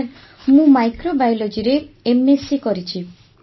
sir ମୁଁ ମାଇକ୍ରୋବାୟୋଲଜିରେ MSc କରିଛି